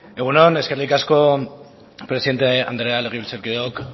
egun on eskerrik asko presidente andrea legebiltzarkideok